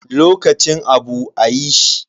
Lokacin abu a yi shi.